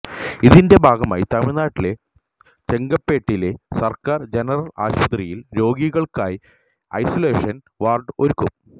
ഇതിന്റെ ഭാഗമായി തമിഴ്നാട്ടിലെ ചെങ്കല്പേട്ടിലെ സർക്കാർ ജനറൽ ആശുപത്രിയിൽ രോഗികൾക്കായി ഐസോലേഷന് വാർഡ് ഒരുക്കും